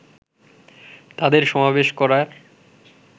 তাদের সমাবেশ করার